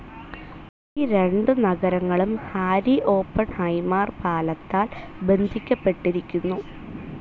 ഈ രണ്ടു നഗരങ്ങളും ഹാരി ഓപ്പൺഹൈമാർ പാലത്താൽ ബന്ധിക്കപ്പെട്ടിരിക്കുന്നു.